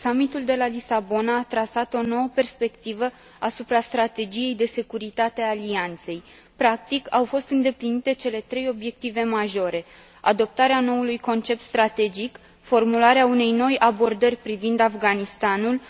Summitul de la Lisabona a trasat o nouă perspectivă asupra strategiei de securitate a Alianței. Practic, au fost îndeplinite cele trei obiective majore adoptarea noului concept strategic, formularea unei noi abordări privind Afganistanul,